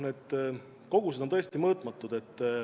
Need kogused on tõesti mõõtmatud.